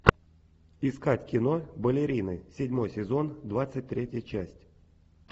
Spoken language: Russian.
искать кино балерины седьмой сезон двадцать третья часть